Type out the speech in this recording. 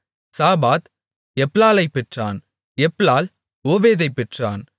சாபாத் எப்லாலைப் பெற்றான் எப்லால் ஓபேதைப் பெற்றான்